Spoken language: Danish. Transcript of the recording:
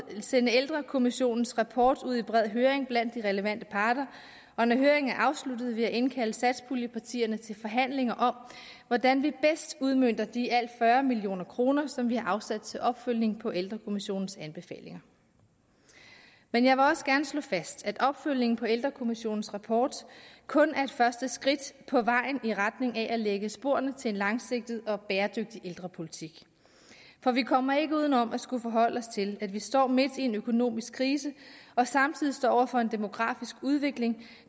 sende ældrekommissionens rapport ud i bred høring blandt de relevante parter og når høringen er afsluttet vil jeg indkalde satspuljepartierne til forhandlinger om hvordan vi bedst udmønter de i alt fyrre million kr som vi har afsat til opfølgning på ældrekommissionens anbefalinger men jeg vil også gerne slå fast at opfølgningen på ældrekommissionens rapport kun er et første skridt på vejen i retning af at lægge sporene til en langsigtet og bæredygtig ældrepolitik for vi kommer ikke uden om at skulle forholde os til at vi står midt i en økonomisk krise og samtidig står over for en demografisk udvikling